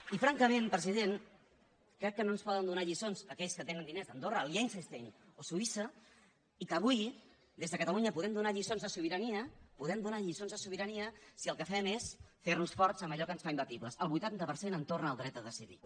i francament president crec que no ens poden donar lliçons aquells que tenen diners a andorra a liechtenstein o suïssa i que avui des de catalunya podem donar lliçons de sobirania si el que fem és fer nos forts en allò que ens fa imbatibles el vuitanta per cent en torn al dret a decidir